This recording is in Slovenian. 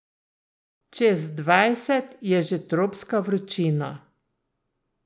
Čez dvajset je že tropska vročina.